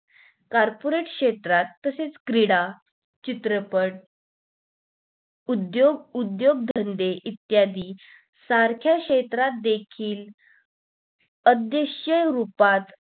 carporate क्षेत्रात तसेच क्रीडा चित्रपट उद्दोग उद्दोग धंदे इत्यादी सारख्या क्षेत्रात देखील अदृश्य रूपात